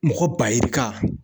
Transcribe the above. Mɔgɔ ba yirika